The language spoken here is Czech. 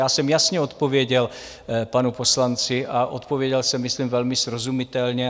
Já jsem jasně odpověděl panu poslanci a odpověděl jsem myslím velmi srozumitelně.